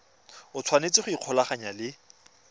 o tshwanetse go ikgolaganya le